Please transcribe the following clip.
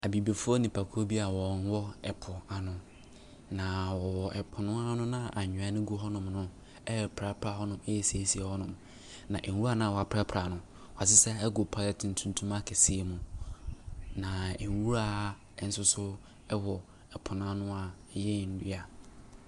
Abibifoɔ nnipakuo bi a ɔwɔ ɛpo bi ano. Na ɔwɔ ɛpo no ano noa anwea no gu ho nom no ɛrepirapira hɔ nom, ɛresiesie hɔ. Na nwura naa wɔpirapira no, woasesa agu polythene tuntum akɛseɛ bi mu na nwura ɛnsoso ɛwɔ ɛpo n'ano a ɛyɛ nnua.